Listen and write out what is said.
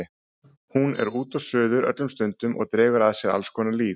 Hún er út og suður öllum stundum og dregur að sér alls konar lýð.